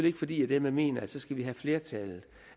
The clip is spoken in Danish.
ikke fordi jeg dermed mener at så skal vi have flertallet